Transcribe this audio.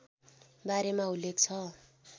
बारेमा उल्लेख छ